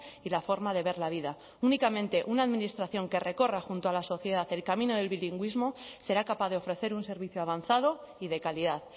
y la forma de ver la vida únicamente una administración que recorra junto a la sociedad el camino del bilingüismo será capaz de ofrecer un servicio avanzado y de calidad